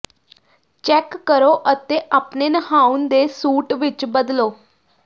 check ਕਰੋ ਅਤੇ ਆਪਣੇ ਨਹਾਉਣ ਦੇ ਸੂਟ ਵਿੱਚ ਬਦਲੋ